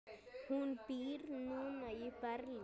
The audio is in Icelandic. Hún býr núna í Berlín.